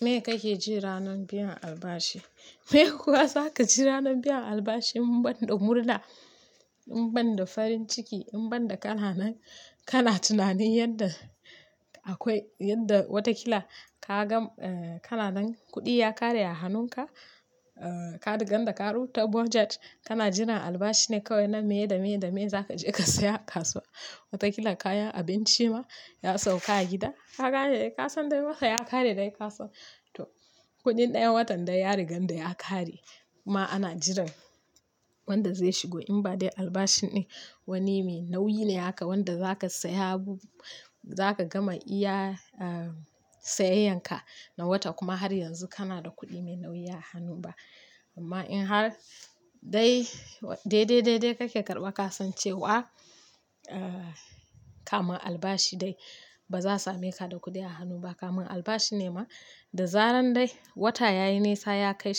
Me kake ji ranar biyan albashi me kuwa zaka ji ranar biyan albashi banda murna in banda farin ciki in banda kan nan kana tunanin yanda akwai yanda watakila kaga kananan kudi ya kare a hanunka ka rike ganda karu ta budget, kana jiran albashi ne kawai na maye da maye da maye za ka je ka saya kasuwa. Wataƙila kaya, abinci ma ya sauka a gida. Ka gane, ka san dai wata ya ƙare dai ka san. To, kudin ɗayan watan dai ya rigan da ya ƙare kuma ana jiran wanda zai shigo in ba dai albashi ne wani mai nauyi ne haka wanda za ka saya abu gama iya sayeyan ka na wata kuma har yanzu kana da kuɗi mai nauyi a hannu ba. Amma in har dai dai dai dai kake karɓa ka san cewa kama albashi dai baza same ka da kuɗi a hannu ba. Kamin albashi ne ma da zaran dai wata yayi nisa yakai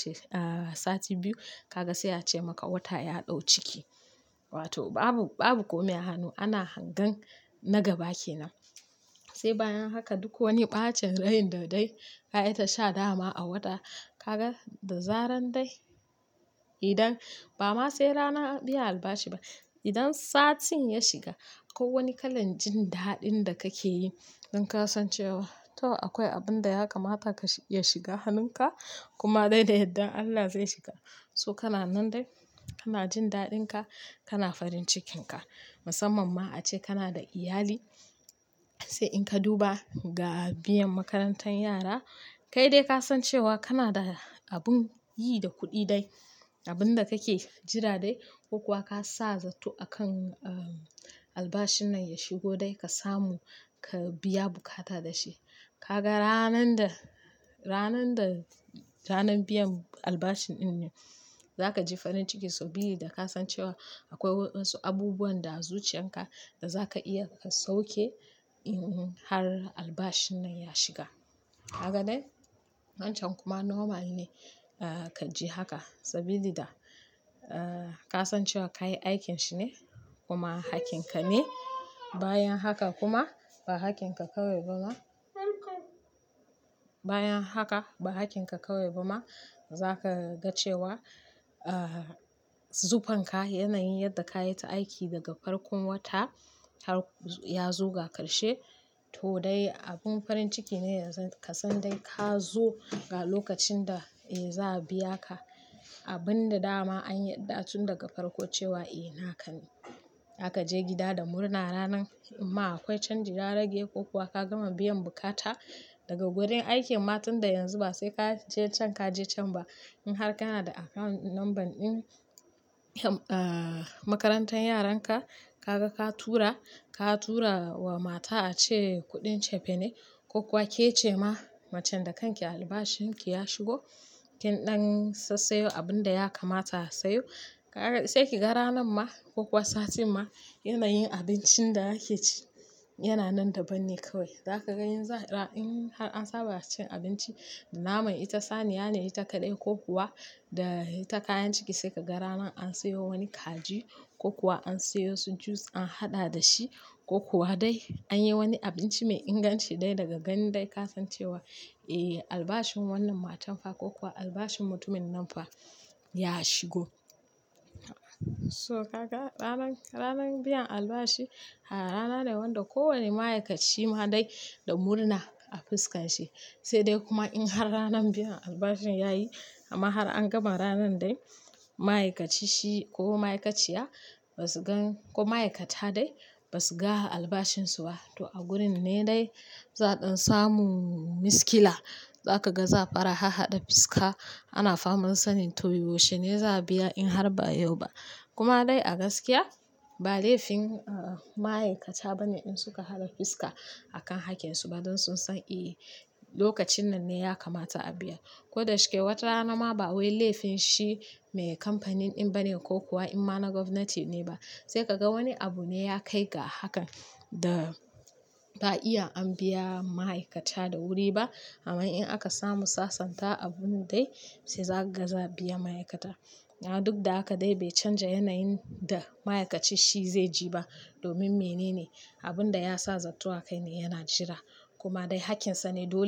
sati biyu kaga sai a ce ma wata ya da ciki wato babu komai a hanu ana hange na gaba kenan sai bayan haka duk wani ɓacen raini da dai kayi ta sha dama a wata, ka ga da zaran dai idan ba ma sai rana biyan albashi ba. Idan satin ya shiga ko wani kalan jin daɗin da kake yi in ka san cewa to akwai abun da ya kamata ya shiga hannunka kuma dai da yadda Allah zai shiga. So kana nan dai kana jin daɗin ka, kana farin cikin ka. Musamman ma ace kana da iyali, sai in ka duba ga biyan makarantar yara, kai dai ka san cewa kana da abun yi da kuɗi dai. Abun da kake jira dai ko kuwa ka sa zato akan albashin nan ya shigo dai ka samu ka biya bukata da shi. Ka ga ranan da ranan biyan albashin in ne, za ka ji farin ciki saboda da ka san cewa akwai wasu abubuwan da zuciyan ka da za ka iya ka sauke in har albashin nan ya shiga. Haka dai, wancan kuma normal ne ka ji haka saboda da ka san cewa ka yi aikin shi ne kuma hakkin ka ne. Bayan haka kuma ba hakkin ka kawai ba ma, bayan haka ba hakkin ka kawai ba ma za ka ga cewa zufen ka, yanayin yadda ka yi ta aiki daga farkon wata har ya zuga karshe to dai abun farin ciki ne yanzu ka san dai ka zo ga lokacin da za a biya ka. Abun da dama anyi ɗa tun daga farko cewa eh naka ne. Za ka je gida da murna ranan ma akwai canji, ya rage ko kuwa ka gama biyan bukata daga wurin aikin. Ma tun da yanzu ba sai ka je can ka je can ba. In har kana da account number ɗin makarantar yaran ka, ka ga ka tura, ka tura wa mata a ce kuɗin cefene ko kuwa ke ce ma macen da kake albashin ki ya shigo. KIn dan sassa yau abun da ya kamata a sayo, sai ka ga ranan ma ko kuwa sati ma yanayin abincin da yake ci yana nan daban ne kawai. Za ka ga in har an saba cin abinci da nama ita saniya ne, ita kaɗai ko kuwa da ita kayan ciki sai ka ga ranan an sayo wani kaji ko kuwa an sayo su juice an haɗa da shi ko kuwa dai an yi wani abinci mai inganci dai daga gani dai ka san cewa eh albashin wannan matan fa ko kuwa albashin mutumin nan fa ya shigo. So ka ga ranan biyan albashi har rana ne wanda ko wane ma'aikaci ma dai da murna a fuskan shi. Sai dai kuma in har ranan biyan albashin yayi amma har an gama ranan dai ma'aikaci shi ko ma'aikaciya ba su gan ko ma'aikata dai ba su ga albashin su ba. To a gurin ne dai za ɗan samu miskila. Za ka ga za fara hahaɗa fuska, ana faman sanin to me wuce ne za a biya in har ba yau ba. Kuma dai a gaskiya ba laifin ma'aikata bane in suka haɗa fuska akan hakkin su ba don sun san eh lokacin nan ne ya kamata a biya. Ko da shike wata rana ma ba wai laifin shi mai kamfanin ɗin bane ko kuwa in ma na gwamnati ne ba. Sai ka ga wani abu ne ya kai ga hakan da ba iya an biya ma'aikata da wuri ba. Amma in aka samu sasanta abun dai sai za ka ga za a biya ma'aikata. Duk da haka dai bai canja yanayin da ma'aikaci shi zai ji ba domin me nene abun da ya sa zatto a kai ne yana jira kuma dai hakkin sa ne dole.